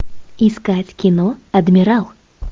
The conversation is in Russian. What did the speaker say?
искать кино адмирал